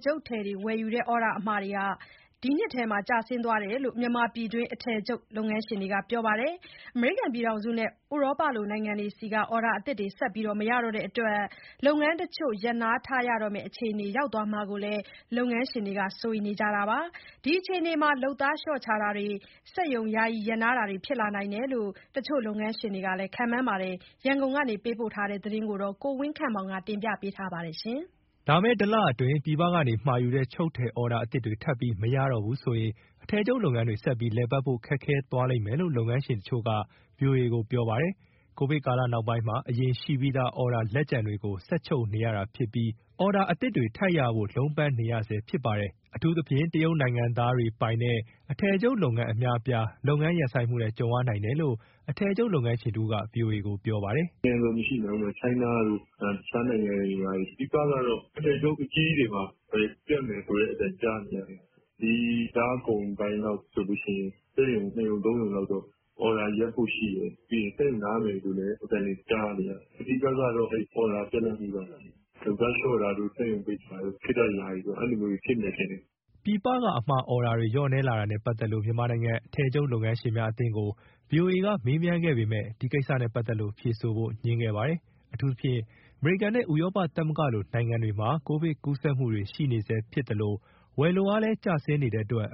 ချုပ်ထည်ဝယ်ယူတဲ့ အော်ဒါအမှာတွေ အခုနှစ်ထဲမှာ ကျဆင်းသွားတယ်လို့ မြန်မာပြည်တွင်း အထည် ချုပ်လုပ်ငန်းရှင်တွေက ပြောပါတယ်။ အမေရိကန်နဲ့ ဥရောပလိုနိုင်ငံတွေဆီက အော်ဒါအသစ်တွေ ဆက်ပြီးမရတော့တဲ့အတွက် လုပ်ငန်းတချို့ ရပ်နားထားရမယ့်အခြေအနေ ရောက်သွားမှာကို လုပ်ငန်းရှင်တွေက စိုးရိမ်နေကြတာပါ။ ဒီအခြေအနေမှာ လုပ်သားလျှော့ချတာတွေ၊ စက်ရုံယာယီရပ်နားတာတွေ ဖြစ်လာနိုင်တယ်လို့ တချို့ လုပ်ငန်းရှင်တွေက ခန့်မှန်းကြပါတယ်။ ရန်ကုန်ကပေးပို့တဲ့ ဒီသတင်းကို ကိုဝင်းခန့်မောင် က တင်ပြပေးထားပါတယ်။ လာမယ့်တလအတွင်း ပြည်ပကနေမှာယူတဲ့ ချုပ်ထည်အော်ဒါအသစ်တွေ ထပ်ပြီးမရတော့ဘူးဆိုရင် အထည်ချုပ်လုပ်ငန်းတွေ ဆက်ပြီး လည်ပတ်ဖို့အတွက် ခက်ခဲသွားလိမ့်မယ်လို့ လုပ်ငန်းရှင်တချို့က ဗွီအိုအေကို ပြောပါတယ်။ ကိုဗစ်ကာလနောက်ပိုင်းမှာ အရင်ရှိပြီးသား အော်ဒါလက်ကျန်တွေကို ဆက်ချုပ်နေရတာဖြစ်ပြီး အော်ဒါအသစ်တွေ ထပ်ရဖို့ လုံးပန်းနေရဆဲ ဖြစ်ပါတယ်။ အထူးသဖြင့် တရုတ်နိုင်ငံသားတွေပိုင်တဲ့ အထည်ချုပ်လုပ်ငန်း အများအပြား လုပ်ငန်းရပ်ဆိုင်းမှုနဲ့ ကြုံရနိုင်တယ်လို့ အထည်ချုပ်လုပ်ငန်းရှင်တဦးက ဗွီအိုအေကို ပြောပါတယ်။ "အစုံပဲဗျ။ နိုင်ငံစုံရှိမယ်။ China တို့ တခြားနိုင်ငံတွေ ဘာတွေ။ အဓိကတော့ အထည်ချုပ် အကြီးကြီးတွေမှာပဲ ပြတ်မယ်ဆိုတဲ့အသံ ကြားနေရတယ်။ ဒီလကုန်ပိုင်းလောက်ဆိုရင် စက်ရုံ ၂ ရုံ ၃ ရုံလောက်တော့ အော်ဒါ ရပ်ဖို့ရှိတယ်။ ပြီးရင် စက်ရုံနားမယ်လို့လည်း အသံတွေ ကြားနေရတယ်။ အဓိကတော့ အဲဒီ အော်ဒါ ပြတ်လပ်မှုပဲ။ လုပ်သားလျှော့တာတို့၊ စက်ရုံပိတ်တာတို့ ခေတ္တယာယီ အဲလိုမျိုးတွေ ဖြစ်မယ် ထင်တယ်။" ပြည်ပက အမှာ အော်ဒါတွေ လျော့နည်းလာတာနဲ့ပတ်သက်လို့ မြန်မာနိုင်ငံ အထည်ချုပ်လုပ်ငန်းရှင်များ အသင်းကို ဗွီအိုအေက မေးမြန်းခဲ့ပေမယ့် ဒီကိစ္စနဲ့ ပတ်သက်လို့ ဖြေဆိုဖို့ငြင်းခဲ့ပါတယ်။ အထူးသဖြင့် အမေရိကန်နဲ့ ဥရောပသမဂ္ဂလိုနိုင်ငံတွေမှာ ကိုဗစ်ကူးစက်မှုတွေ ရှိနေဆဲဖြစ်သလို ဝယ်လိုအားလည်း ကျဆင်းနေတဲ့အတွက်